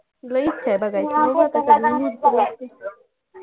लई इच्छा आहे बघायची